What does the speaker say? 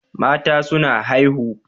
Mata suna haihu